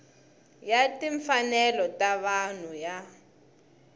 ya timfanelo ta vanhu ya